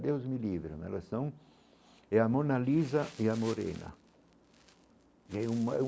Deus me livre, mas elas são é a Mona Lisa e a Morena é uma.